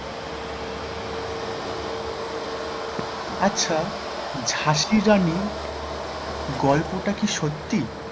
আচ্ছা ঝাঁসির রানী গল্প টা কি সত্যি?